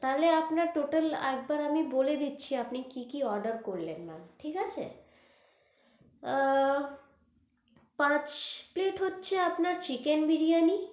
তাহলে আপনার total একবার আমি বলে দিচ্ছি আপনি কি কি order করলেন ma'am ঠিক আছে, আহ পাঁচ plate হচ্ছে আপনার chicken বিরিয়ানি।